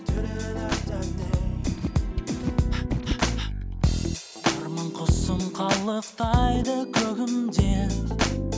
арман құсым қалықтайды көгімде